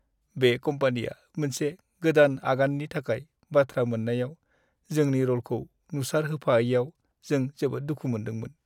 बे कम्पानिया मोनसे गोदान आगाननि थाखाय बान्था मोन्नायाव जोंनि र'लखौ नुसारहोफायैयाव जों जोबोद दुखु मोन्दोंमोन।